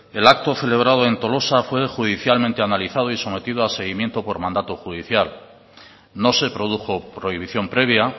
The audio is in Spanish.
el acto celebrado en tolosa fue judicialmente analizado y sometido a seguimiento por mandato judicial no se produjo prohibición previa